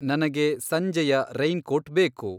ನನಗೆ ಸಂಜೆಯ raincoat ಬೇಕು